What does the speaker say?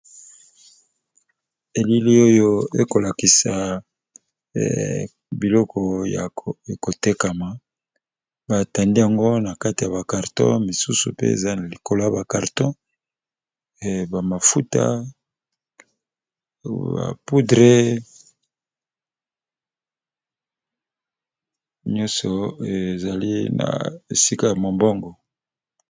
Elili oyo ekolakisa biloko ya ekotekama batandi yango na kati ya ba carton misusu pe eza na likolo ya ba carton ba mafuta ba poudre nyonso ezali na esika ya mombongo.